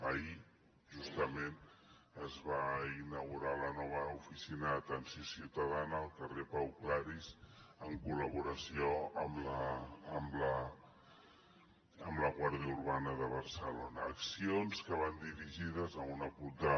ahir justament es va inaugurar la nova oficina d’atenció ciutadana al carrer pau claris en col·laboració amb la guàrdia urbana de barcelona accions que van dirigides a un acotar